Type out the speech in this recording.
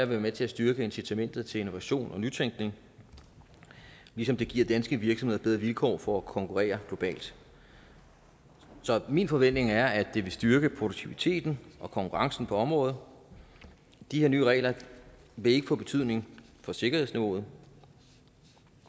være med til at styrke incitamentet til innovation og nytænkning ligesom det giver danske virksomheder bedre vilkår for at konkurrere globalt så min forventning er at det vil styrke produktiviteten og konkurrencen på området de her nye regler vil ikke få betydning for sikkerhedsniveauet